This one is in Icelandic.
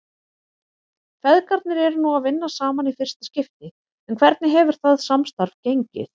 Feðgarnir eru nú að vinna saman í fyrsta skipti en hvernig hefur það samstarf gengið?